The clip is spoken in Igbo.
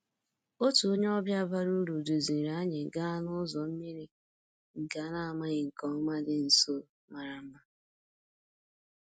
Otu onye ọbịa bara uru duziri anyị gaa n'ụzọ mmiri nke a na-amaghị nke ọma dị nso mara mma